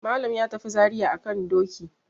Malam ya tafi Zariya a kan doki.